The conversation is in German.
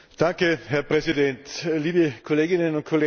Herr Präsident, liebe Kolleginnen und Kollegen!